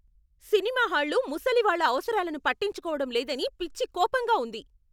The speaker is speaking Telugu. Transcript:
సినిమా హాళ్లు ముసలి వాళ్ళ అవసరాలను పట్టించుకోవడం లేదని పిచ్చి కోపంగా ఉంది.